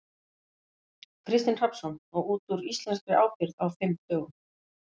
Kristinn Hrafnsson: Og út úr íslenskri ábyrgð á fimm dögum?